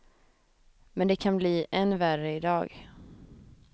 Men det kan bli än värre i dag.